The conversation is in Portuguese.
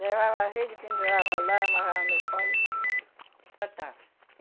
Levava a rede, pendurava lá, amarrava no pau e tratava.